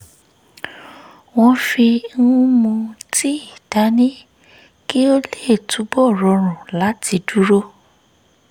wọ́n fi ń mu tíì dání kí ó lè túbọ̀ rọrùn láti dúró